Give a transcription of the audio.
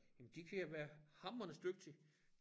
Jamen de kan jo være hamrende dygtige